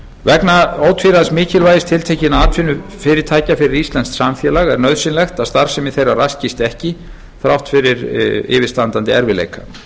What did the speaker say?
vegna ótvíræðs mikilvægis tiltekinna atvinnufyrirtækja fyrir íslenskt samfélag er nauðsynlegt að starfsemi þeirra raskist ekki þrátt fyrir yfirstandandi erfiðleika